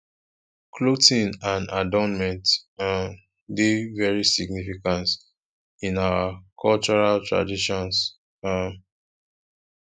clothing and adornment um dey very significance in our cultural traditions um